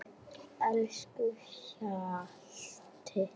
Elsku Hjalti.